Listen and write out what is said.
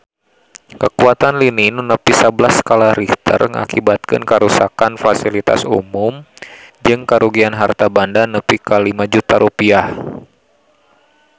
Kakuatan lini nu nepi sabelas skala Richter ngakibatkeun karuksakan pasilitas umum jeung karugian harta banda nepi ka 5 juta rupiah